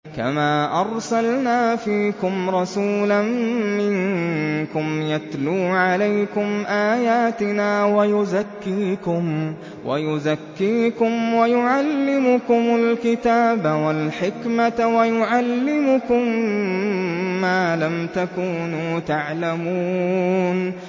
كَمَا أَرْسَلْنَا فِيكُمْ رَسُولًا مِّنكُمْ يَتْلُو عَلَيْكُمْ آيَاتِنَا وَيُزَكِّيكُمْ وَيُعَلِّمُكُمُ الْكِتَابَ وَالْحِكْمَةَ وَيُعَلِّمُكُم مَّا لَمْ تَكُونُوا تَعْلَمُونَ